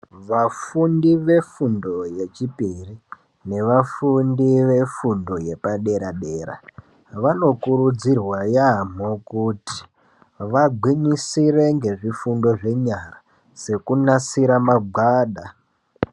Vafundi vefundo yechipiri nevafundi vefundo yepaderadera vanokurudzirwa yamho kuti vagwinyisire ngezvifundo zvenyara sekunasira magwada.